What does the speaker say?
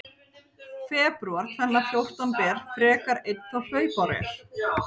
Febrúar tvenna fjórtán ber, frekar einn þá hlaupár er.